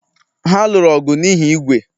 Ha lụrụ ọgụ n'ihi ígwè